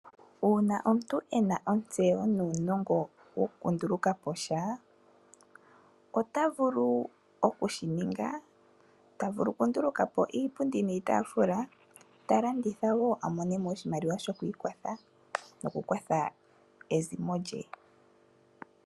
Uuna omuntu e na ontseyo nuunongo wokundulukaposha ota vulu okushininga ta vulu okundulukapo iipundi niitafula ta landitha wo a monemo oshimaliwa shokwiikwatha nokukwatha ezimo lye.